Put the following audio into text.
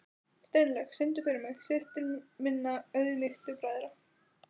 Steinlaug, syngdu fyrir mig „Systir minna auðmýktu bræðra“.